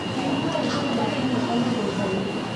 Nyihia ũhũthĩri wa kemiko mũgũnda-inĩ.